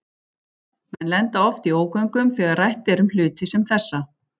Menn lenda oft í ógöngum þegar rætt er um hluti sem þessa.